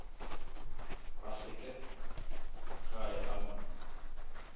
a swike khae a mu